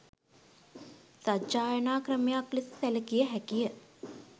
සජ්ඣායනා ක්‍රමයක් ලෙස සැලකිය හැකිය